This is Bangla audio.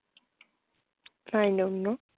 I don't know